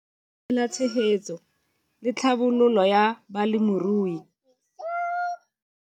Lenaane la Tshegetso le Tlhabololo ya Balemirui.